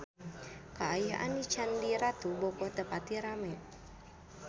Kaayaan di Candi Ratu Boko teu pati rame